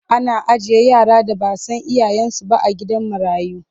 Ana ajiye yara da ba a san iyayensu ba a gidan marayu.